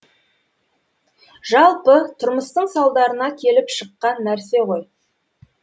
жалпы тұрмыстың салдарына келіп шыққан нәрсе ғой